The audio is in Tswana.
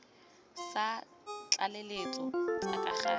tsa tlaleletso tse ka gale